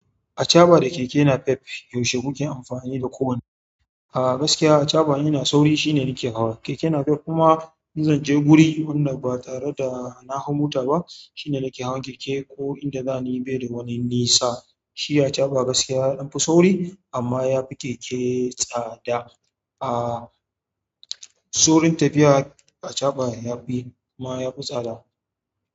Achaɓa da keke napep, yaushe muke amfani da kowanne? A gaskiya achaɓa in ina sauri shine nake hawa keke napep kuma in zan je guri wannan ba tare da na hau mota ba shine nake hawa keke ko inda zan yi bede wani nisa. Shi achaɓa gaskiya yaɗan fi sauri amma yafi keke tsada. Saurin tafiya a achaɓa ya fi kuma yafi tsada.